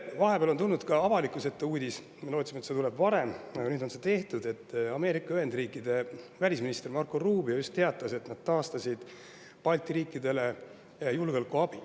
Vahepeal on tulnud avalikkuse ette uudis – me lootsime, et see tuleb varem, aga see sai tehtud nüüd –, Ameerika Ühendriikide välisminister Marco Rubio just teatas, et nad taastasid julgeolekuabi Balti riikidele.